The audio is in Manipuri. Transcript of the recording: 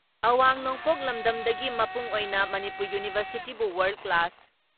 ꯑꯋꯥꯡ ꯅꯣꯡꯄꯣꯛ ꯂꯝꯗꯝꯗꯒꯤ ꯃꯄꯨꯡ ꯑꯣꯏꯅ ꯃꯅꯤꯄꯨꯔ ꯌꯨꯅꯤꯚꯔꯁꯤꯇꯤꯕꯨ ꯋꯥꯔꯜ ꯀ꯭ꯂꯥꯁ